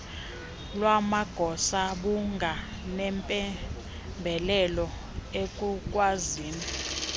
lwamagosa bunganempembelelo ekukwazini